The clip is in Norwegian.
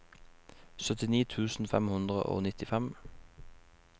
syttini tusen fem hundre og nittifem